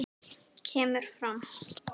kemur fram